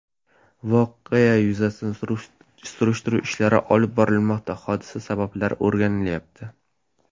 Voqea yuzasidan surishtiruv ishlari olib borilmoqda, hodisa sabablari o‘rganilyapti.